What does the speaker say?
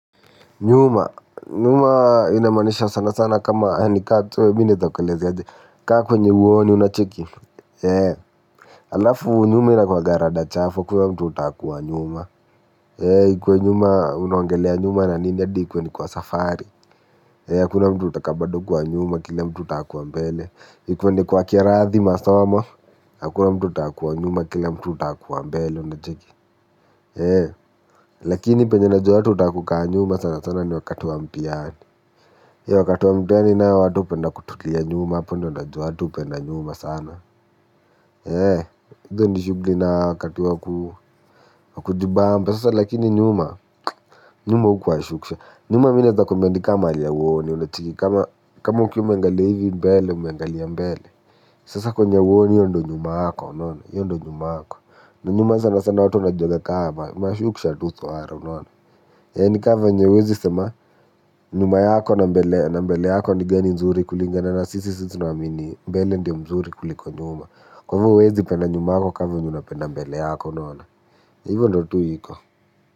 Nyuma. Nyuma inamaanisha sana sana kama yani sijui naweza kueleza aje. Kaa kwenye huoni unacheki. Eee. Alafu nyuma ina kwanga rada chafu hakuna kwa mtu huta kuwa nyuma. Eee. Ikwe nyuma unaongelea nyuma na nini hadi ikuwe ni kwa safari. Eee. Hakuna mtu hutaka bado kuwa nyuma kile mtu huta kuwa mbele. Ikwe ni kwa class masoma. Hakuna mtu hutaka kuwa nyuma kile mtu hutaka kuwa mbele unacheki. Eee. Lakini pale najua watu hutaka kukaa nyuma sana sana ni wakati wa mtihani. Eee wakati wa mtihani watu wanapenda kutulia nyuma hapo ndiyo na jua watu hupenda nyuma sana. Eee. Hizo ni shughuli na wakati wa kujibamba. Sasa lakini nyuma. Nyuma hukuwa. Nyuma mimi naweza kuambia ni kama mahali huoni. Kama ukiwa umeangalia mbele umeangalia mbele. Sasa kwenye huoni ndiyo nyuma yako. Ndiyo nyuma yako. Na nyuma sana sana watu wanajiona kama mashuksha tu. Eee, nikama venye huwezi sema. Nyuma yako na mbele na mbele yako ni gani nzuri? Kulingana na sisi tunaamini mbele ndiyo mzuri kuliko nyuma. Kwa hivyo huwezi kupenda nyuma yako kama vile unapenda mbele yako unona. Hivyo ndiyo tu iko.